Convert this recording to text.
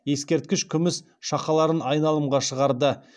ескерткіш күміс шақаларын айналымға шығарды